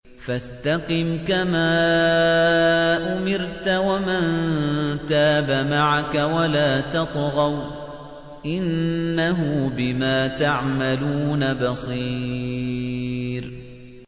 فَاسْتَقِمْ كَمَا أُمِرْتَ وَمَن تَابَ مَعَكَ وَلَا تَطْغَوْا ۚ إِنَّهُ بِمَا تَعْمَلُونَ بَصِيرٌ